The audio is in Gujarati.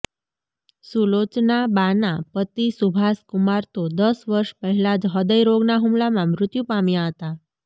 સુલોચનાબાનાં પતિ સુભાષકુમાર તો દસ વર્ષ પહેલા જ હ્રદયરોગના હુમલામાં મૃત્યુ પામ્યા હતા